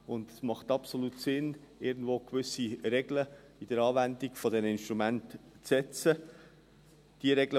Es macht absolut Sinn, gewisse Regeln bei der Anwendung dieser Instrumente zu setzen.